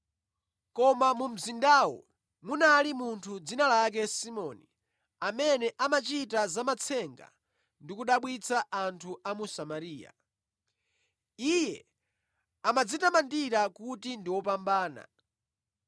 Koma mu mzindawo munali munthu dzina lake Simoni, amene amachita za matsenga ndi kudabwitsa anthu a mu Samariya. Iye amadzitamandira kuti ndi wopambana,